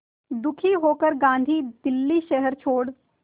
दुखी होकर गांधी दिल्ली शहर छोड़